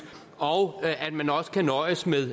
og at man også kan nøjes med